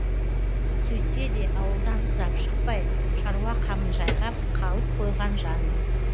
сөйтсе де ауылдан ұзап шықпай шаруа қамын жайғап қалып қойған жанмын